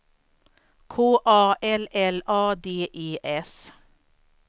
K A L L A D E S